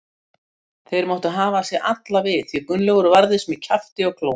Þeir máttu hafa sig alla við því Gunnlaugur varðist með kjafti og klóm.